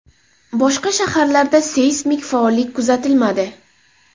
Boshqa shaharlarda seysmik faollik kuzatilmadi.